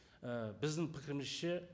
і біздің пікірімізше